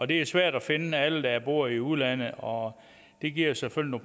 det er svært at finde alle dem der bor i udlandet og det giver selvfølgelig